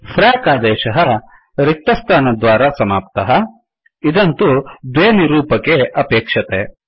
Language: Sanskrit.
फ्रैक फ्राक् आदेशः रिक्तस्थानद्वारा समाप्तः इदं तु द्वे निरूपके अपेक्षते